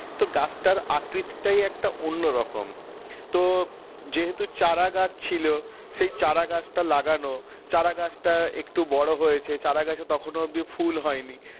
তো গাছটার আকৃতিটাই একটা অন্য রকম তো যেহেতু চারা গাছ ছিল সেই চারা গাছটা লাগানো চারা গাছ টা একটু বড় হয়েছে চারা গাছে তখন অবধি ফুল হয়নি